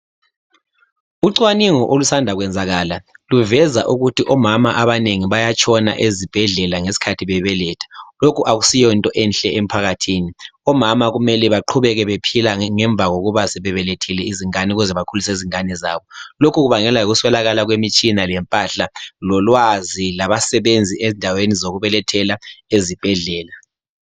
Ucwaningo olusanda kwenzakala luveza ukuthi omama abanengi bayafa ezibhedlela ngesikhathi bebeletha. Lokhu akusiyonto enhle emphakathini omama mele baqhubeke bephila ngemva kokubeletha ukuze bakhulise ingane zabo lokhu kubangelwa yikuswelakala kwemitshina, impahla, ulwazi lezisebenzi endaweni zokubelethela ezibhedlela.